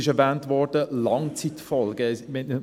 Es wurden Langzeitfolgen erwähnt: